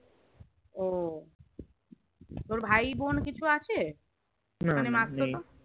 ও তোর ভাই বোন কিছু আছে মানে মাসির